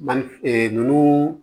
Man ee ninnu